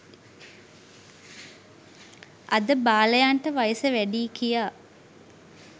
අද බාලයන්ට වයස වැඩියි කියා